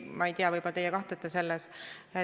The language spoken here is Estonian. Ma ei tea, võib-olla teie kahtlete selles.